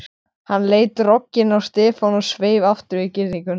Hann leit rogginn á Stefán og sveif aftur yfir girðinguna.